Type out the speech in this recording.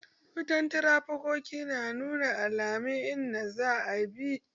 Wutan tarafikato na nuna alaman in da za a bi